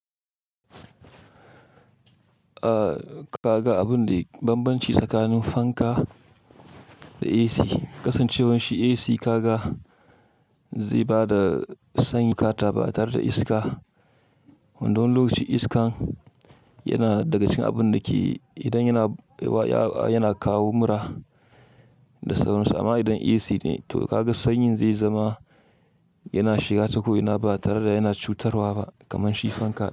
Ah ka ga abun da banbanci tsakanin fanka da AC. Kasancewar shi AC ka ga zai ba da sanyi ka taba tare da iska. Wanda wani lokacin iskan yana daga cikin abun da ke idan yana, wa, ya, yana kawo mura da sauransu. Amma idan AC ne to ka ga sanyin zai zama yana shiga ta ko'ina ba tare da yana cutarwa ba kamar shi fanka.